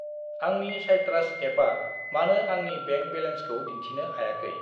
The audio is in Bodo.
आंनि साइट्रास एपा मानो आंनि बेंक बेलेन्सखौ दिन्थिनो हायाखै?